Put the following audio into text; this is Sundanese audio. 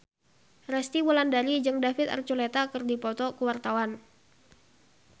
Resty Wulandari jeung David Archuletta keur dipoto ku wartawan